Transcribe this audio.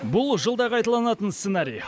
бұл жылда қайталанатын сценарий